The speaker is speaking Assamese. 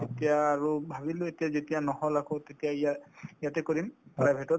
এতিয়া আৰু ভাবিলো এতিয়া যেতিয়া নহল আকৌ তেতিয়া ইয়া ইয়াতে কৰিম private তত